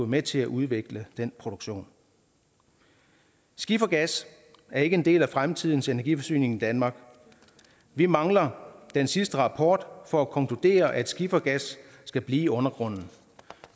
med til at udvikle den produktion skifergas er ikke en del af fremtidens energiforsyning i danmark vi mangler den sidste rapport for at konkludere at skifergas skal blive i undergrunden